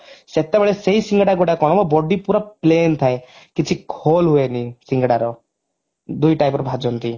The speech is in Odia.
ସେତେବେଳେ ସେଇ ସିଙ୍ଗଡା ଗୁଡା କଣ ହବ body ପୁରା plain ଥାଏ କିଛି hole ହୁଏନି ସିଙ୍ଗଡାର ଦୁଇ type ର ଭାଜନ୍ତି